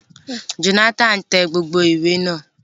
Jonathan tẹ gbogbo ìwé náà.